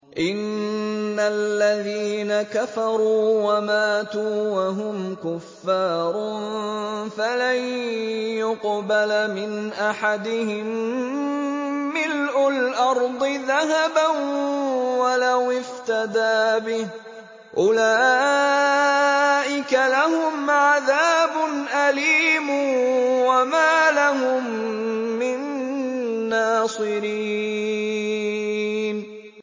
إِنَّ الَّذِينَ كَفَرُوا وَمَاتُوا وَهُمْ كُفَّارٌ فَلَن يُقْبَلَ مِنْ أَحَدِهِم مِّلْءُ الْأَرْضِ ذَهَبًا وَلَوِ افْتَدَىٰ بِهِ ۗ أُولَٰئِكَ لَهُمْ عَذَابٌ أَلِيمٌ وَمَا لَهُم مِّن نَّاصِرِينَ